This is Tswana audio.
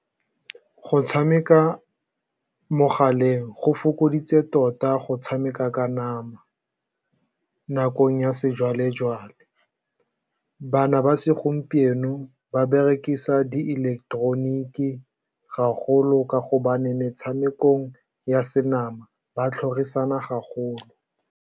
Go tshameka mogaleng go fokoditse tota go tshameka ka nama nakong ya sejwalejwale. Bana ba segompieno ba berekisa diileketeroniki gagolo ka gobane metshamekong ya senama ba tlhorisana gagolo.